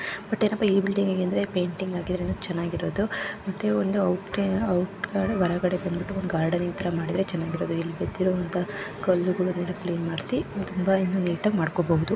ಏನಪ್ಪ ಈ ಬಿಲ್ಡಿಂಗ್ ಅಂದರೆ ಪೇಯಿಟಿಂಗ್‌ ಹಾಕಿರೋದ್ರಿಂದ ಚೆನ್ನಾಗಿ ಇರೋದು ಮತ್ತೆ ಹೊರಗಡೆ ಬಂದು ಒಂದು ಗಾರ್ಡನ್‌ ಮಾಡಿದ್ರೆ ಚೆನ್ನಾಗಿರೋದು ಅಲ್ಲಿ ಬಿದ್ದಿರುವಂತಹ ಕಲ್ಲುಗಳನೆಲ್ಲಾ ಕ್ಲೀನ್‌ ಮಾಡಿಸಿ ಇನ್ನೂ ನೀಟಾಗಿ ಮಾಡ್ಕೊಬಹುದು.